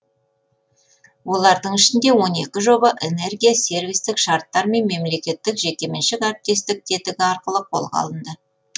олардың ішінде он екі жоба энергия сервистік шарттар мен мемлекеттік жекеменшік әріптестік тетігі арқылы қолға алынды